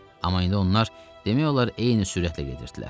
Amma indi onlar demək olar eyni sürətlə gedirdilər.